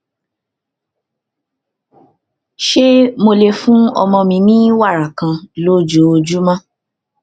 ṣé mo lè fún ọmọ mi ní wàrà kan lójoojúmọ